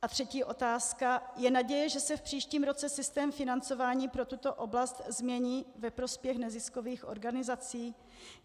A třetí otázka: Je naděje, že se v příštím roce systém financování pro tuto oblast změní ve prospěch neziskových organizací?